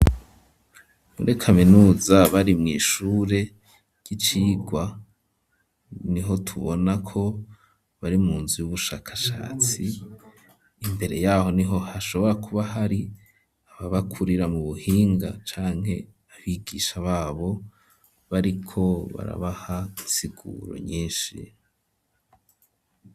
Muri kaminuza bari mw' ishure ry'icigwa, niho tubona ko bari mu nzu y'ubushakashatsi, imbere yaho niho hashobora kuba hari aba bakorera mu buhinga, canke abigisha babo bariko barabaha insiguro nyinshi.